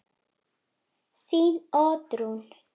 Þín Oddrún.